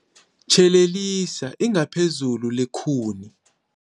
Tjhelelisa ingaphezulu lekhuni.